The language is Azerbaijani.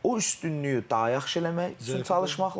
O üstünlüyü daha yaxşı eləmək üçün çalışmaq lazımdır.